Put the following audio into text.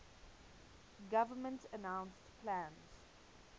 government announced plans